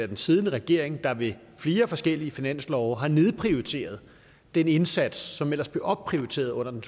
den siddende regering der ved flere forskellige finanslove har nedprioriteret den indsats som ellers blev opprioriteret under den